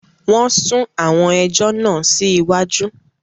Wọn sún àwọn ẹjọ́ náà sí iwájú